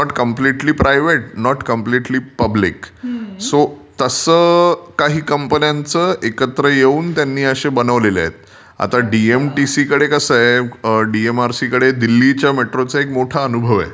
It's not completely private, not completely public. So तसे काही कंपन्यांचं एकत्र येऊन त्यांनी असे बनवले आहेत. आता डीएमटीसी कडे कसं आहे, डीएमआरसीकडे दिल्ली मेट्रोचा एक मोठा अनुभव आहे.